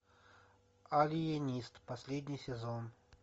алиенист последний сезон